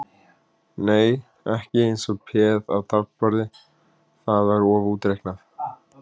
Nei, ekki eins og peð á taflborði, það var of útreiknað.